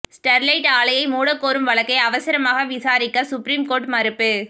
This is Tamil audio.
ஸ்டெர்லைட் ஆலையை மூட கோரும் வழக்கை அவசரமாக விசாரிக்க சுப்ரீம் கோர்ட் மறுப்பு